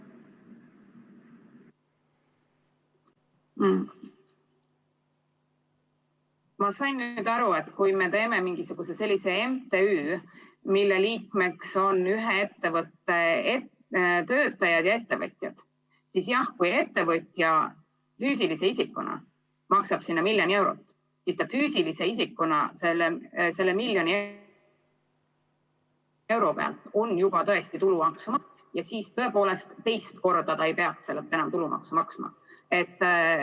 Ma sain aru, et kui me teeme mingisuguse sellise MTÜ, mille liikmeks on ühe ettevõtte töötajad ja ettevõtjad, siis jah, kui ettevõtja füüsilise isikuna maksab sinna miljon eurot, siis ta füüsilise isikuna selle miljoni euro pealt on juba tõesti tulumaksu maksnud ja siis tõepoolest teist korda ta ei peaks sellelt enam tulumaksu maksma.